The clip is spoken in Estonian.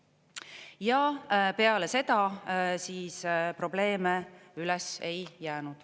Ja peale seda probleeme üles ei jäänud.